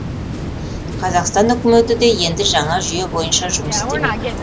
қазақстан үкіметі де енді жаңа жүйе бойынша жұмыс істемек